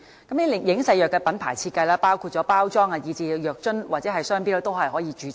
這些影射藥物的品牌設計，包括包裝、藥樽和商標，均可以註冊。